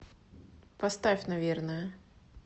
поставь наверное